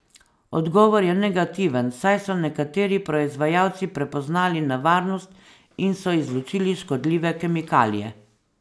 Odgovor je negativen, saj so nekateri proizvajalci prepoznali nevarnost in so izločili škodljive kemikalije.